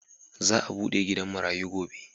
Za'a bude gidan marayu gobe.